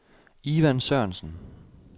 Ivan Sørensen